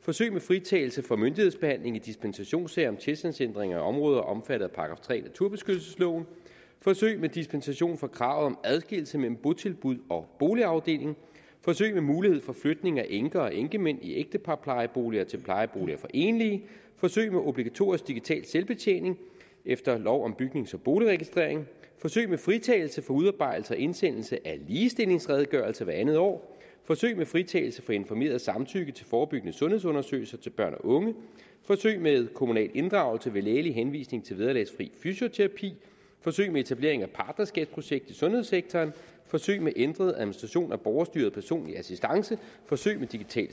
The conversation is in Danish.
forsøg med fritagelse for myndighedsbehandling i dispensationssager om tilstandsændringer i områder omfattet af § tre i naturbeskyttelsesloven forsøg med dispensation fra kravet om adskillelse mellem botilbud og boligafdeling forsøg med mulighed for flytning af enker og enkemænd i ægteparplejeboliger til plejeboliger for enlige forsøg med obligatorisk digital selvbetjening efter lov om bygnings og boligregistrering forsøg med fritagelse for udarbejdelse og indsendelse af ligestillingsredegørelse hvert andet år forsøg med fritagelse for informeret samtykke til forebyggende sundhedsundersøgelser til børn og unge forsøg med kommunal inddragelse ved lægelig henvisning til vederlagsfri fysioterapi forsøg med etablering af partnerskabsprojekt i sundhedssektoren forsøg med ændret administration af borgerstyret personlig assistance forsøg med digital